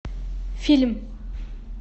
фильм